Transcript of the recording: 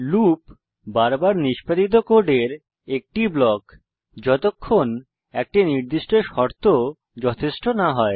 loop বারবার নিষ্পাদিত কোডের একটি ব্লক যতক্ষণ একটি নির্দিষ্ট শর্ত যথেষ্ট না হয়